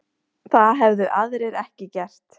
Það hefðu aðrir ekki gert